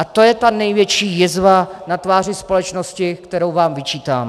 A to je ta největší jizva na tváři společnosti, kterou vám vyčítám.